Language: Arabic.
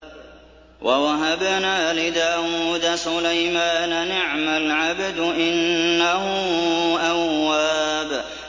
وَوَهَبْنَا لِدَاوُودَ سُلَيْمَانَ ۚ نِعْمَ الْعَبْدُ ۖ إِنَّهُ أَوَّابٌ